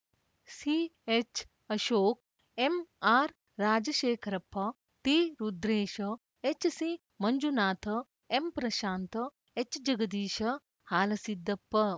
CH Ashok ಎಂಆರ್‌ರಾಜಶೇಖರಪ್ಪ ಟಿರುದ್ರೇಶ ಎಚ್‌ಸಿಮಂಜುನಾಥ ಎಂಪ್ರಶಾಂತ ಎಚ್‌ಜಗದೀಶ ಹಾಲಸಿದ್ದಪ್ಪ